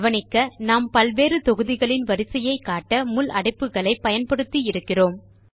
கவனிக்க நாம் பல்வேறு தொகுதிகளின் வரிசையை காட்ட முள் அடைப்புக்களை பயன்படுத்தி இருக்கிறோம்